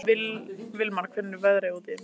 Vilmar, hvernig er veðrið úti?